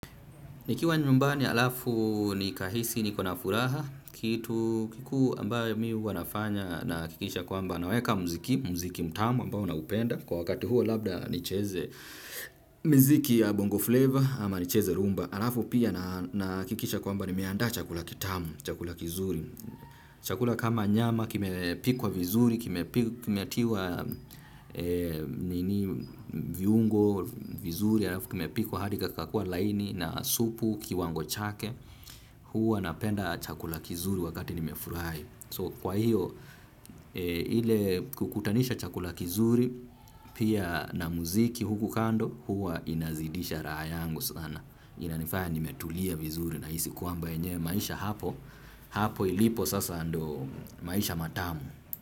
Nikiwa nyumbani alafu nikahisi nikona furaha, kitu kikuu ambayo mimi huwa nafanya nahakikisha kwamba naweka muziki, muziki mtamu ambayo na upenda. Kwa wakati huo labda nicheze miziki ya bongo flavor ama nicheze rhumba. Alafu pia nahakikisha kwamba nimeandaa chakula kitamu, chakula kizuri. Chakula kama nyama, kimepikwa vizuri, kimetiwa viungo vizuri, kimepikwa hadi kikakua laini na supu kiwango chake, huwa napenda chakula kizuri wakati nimefurahi So kwa hiyo, hile kukutanisha chakula kizuri, pia na muziki huku kando, huwa inazidisha raha yangu sana. Inanifaya nimetulia vizuri nahisi kwamba enyewe maisha hapo, hapo ilipo sasa ndio maisha matamu.